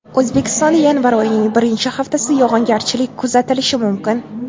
O‘zbekistonda yanvar oyining birinchi haftasi yog‘ingarchilik kuzatilishi mumkin.